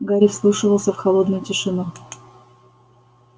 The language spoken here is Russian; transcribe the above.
гарри вслушивался в холодную тишину